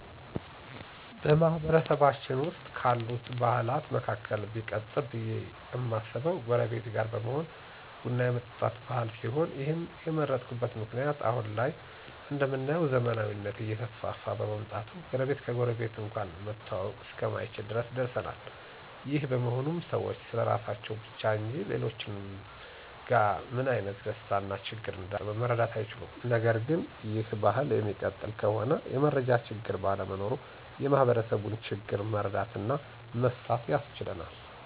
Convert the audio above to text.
በማህበረሰባችን ዉስጥ ካሉት ባህላት መካከል ቢቀጥል ብዬ እማስበው ጎረቤት ጋር በመሆን ቡን የመጠጣት ባህል ሲሆን ይህንም የመረጥኩበት ምክንያት አሁን ላይ እንደምናየው ዘመናዊነት እየተስፋፋ በመምጣቱ ጎረቤት ከጎረቤት እንኳን መተዋወቅ እስከማይቻል ድረስ ደርሰናል። ይህ በመሆኑም ሰዎች ስለራሳቸው ብቻ እንጂ ሌሎችጋ ምን አይነት ደስታ እና ችግር እንዳጋጣመ መረዳት አይችሉም። ነገርግን ይህ ባህል እሚቀጥል ከሆነ የመረጃ ችግር ባለመኖሩ የማህበረሰቡን ችግር መረዳት እና መፍታት ያስችለናል።